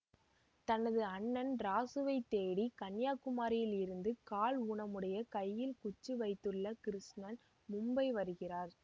தனது அண்ணன் ராசு வை தேடி கன்னியாகுமரியில் இருந்து கால் ஊனமுடைய கையில் குச்சி வைத்துள்ள கிருட்டிணன் மும்பை வருகிறார்